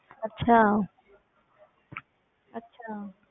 ਅੱਛਾ ਅੱਛਾ